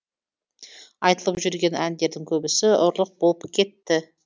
айтылып жүрген әндердің көбісі ұрлық болып кетті